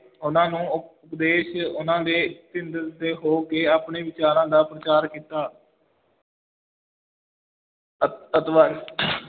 ਉਹਨਾਂ ਨੂੰ ਉਪਦੇਸ਼, ਉਹਨਾਂ ਦੇ ਹੋ ਕੇ ਆਪਣੇ ਵਿਚਾਰਾਂ ਦਾ ਪ੍ਰਚਾਰ ਕੀਤਾ ਅ~